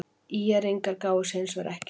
ÍR-ingar gáfust hins vegar ekki upp.